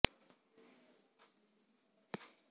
ਹੋਰ ਅਨਮਤੀ ਗ੍ਰੰਥਾਂ ਨੂੰ ਗੁਰੂ ਗ੍ਰੰਥ ਸਾਹਿਬ ਦੇ ਤੁੱਲ ਸਮਝਣ ਤੇ ਮੰਨਣ ਦੀ